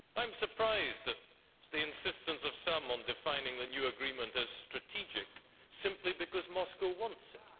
I am surprised at the insistence of some on defining the new agreement as strategic, simply because Moscow wants it.